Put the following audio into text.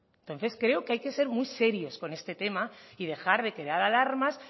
entonces creo que hay que ser muy serios con este tema y dejar de crear alarmas